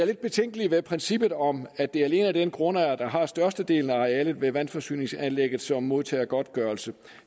lidt betænkelig ved princippet om at det alene er den grundejer der har størstedelen af arealet ved vandforsyningsanlægget som modtager godtgørelse